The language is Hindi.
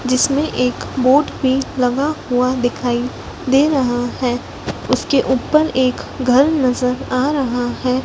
जिसमें एक बोर्ड भी लगा हुआ दिखाई दे रहा है उसके ऊपर एक घर नजर आ रहा है।